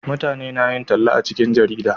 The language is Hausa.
mutane na yin talla a cikin jarida